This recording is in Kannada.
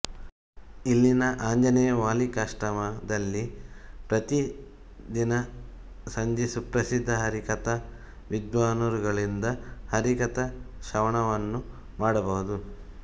ಇಲ್ಲಿನ ಆಂಜನೇಯ ವಾಲ್ಮೀಕಾಶ್ರಮ ದಲ್ಲಿ ಪ್ರತಿದಿನ ಸಂಜೆ ಸುಪ್ರಸಿದ್ಧ ಹರಿಕಥಾ ವಿದ್ವಾನ್ ರವರುಗಳಿಂದ ಹರಿಕಥಾ ಶ್ರವಣವನ್ನು ಮಾಡಬಹುದು